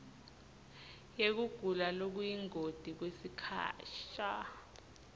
yekugula lokuyingoti kwesikhasha